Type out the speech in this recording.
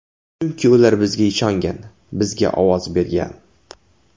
Chunki ular bizga ishongan, bizga ovoz bergan.